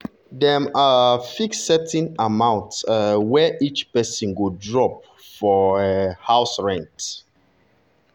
dem um fix certain amount um wey each person go drop drop for um house rent.